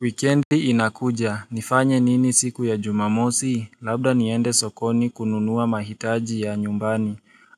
Wikendi inakuja. Nifanye nini siku ya jumamosi? Labda niende sokoni kununua mahitaji ya nyumbani.